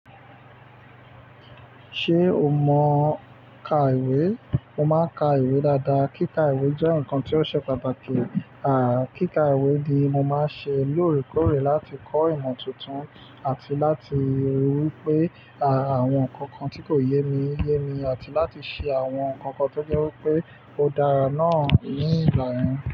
Ṣé o mọ ka ìwé? Mo máa ń ka ìwé dáadáa. Kíka ìwé jẹ́ nǹkan tí ó ṣe pàtàkì. Kíka ìwé ni mo máa ń ṣe lóòrèkóòrè láti kọ́ ìmọ̀ tuntun àti láti rí wípé, àwọn nǹkan kan tí kò yé mi, yé mi àti láti ṣe àwọn nǹkan kan tó jẹ́ wípé ó dára náà ní ìgbà yẹn.